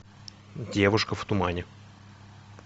девушка в тумане